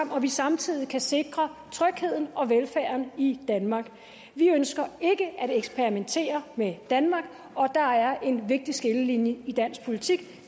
vi samtidig kan sikre trygheden og velfærden i danmark vi ønsker ikke at eksperimentere med danmark og der er en vigtig skillelinje i dansk politik